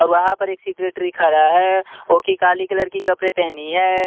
और वहां पर एक सेक्रेटरी खरा है वो की काली कलर की कपड़े पहनी है।